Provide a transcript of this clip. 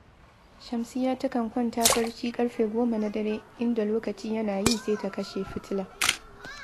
Shamsiyya takan kwanta barci ƙarfe goma na dare, inda lokaci yana yi sai ta kashe fitila